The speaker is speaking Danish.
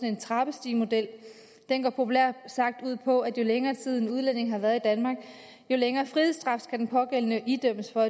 en trappestigemodel den går populært sagt ud på at jo længere tid en udlænding har været i danmark jo længere frihedsstraf skal den pågældende idømmes for